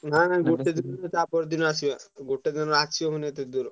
ନା ନା ଗୋଟେ ଦିନ ନୁହଁ ତା ପର ଦିନ ଆସିବା ଗୋଟେ ଦିନରେ ଆସିହବନି ଏତେ ଦୂର।